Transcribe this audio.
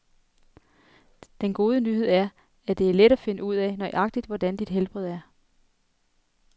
Den gode nyhed er, at det er let at finde ud af, nøjagtig hvordan dit helbred er.